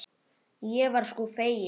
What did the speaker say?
Ég var sko fegin!